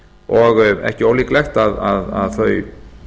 og ekki ólíklegt að þau